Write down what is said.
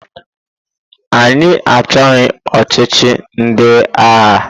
Anyị achọghị ọchịchị ndị agha!